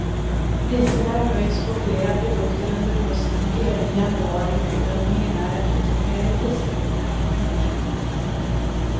Priserna har höjts på flera produkter under hösten och även i januari och bedömningen är att ytterligare prishöjningar kan följa.